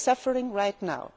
They are suffering right now.